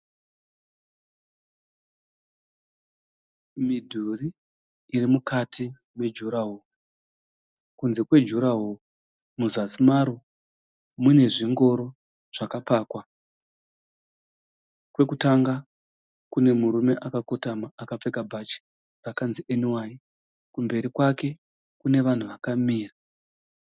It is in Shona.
Midhuri iri mukati mejuraho kunze kwejuraho muzasi maro munezvingoro zvakapakwa kwekutanga kunemurume akakotama akapfeka bhachi rakanzi NY kumberi kwake kune vanhu vakamira